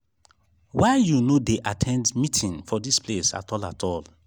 why you no dey at ten d meeting for dis place at all at all